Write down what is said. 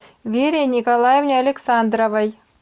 вере николаевне александровой